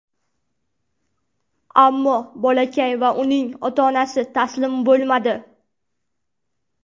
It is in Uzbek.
Ammo bolakay va uning ota-onasi taslim bo‘lmadi.